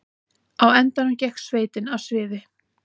Á endanum gekk sveitin af sviði